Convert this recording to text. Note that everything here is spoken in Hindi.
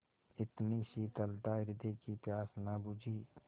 इतनी शीतलता हृदय की प्यास न बुझी